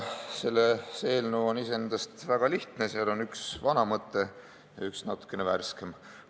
See eelnõu on iseenesest väga lihtne, seal on üks vana mõte ja üks natukene värskem mõte.